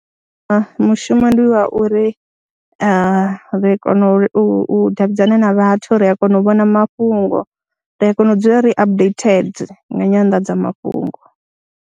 Mushumo ndi wa uri, ri kona u davhidzana na vhathu, ri a kona u vhona mafhungo, ri a kona u dzula ri updated nga nyanḓadzamafhungo.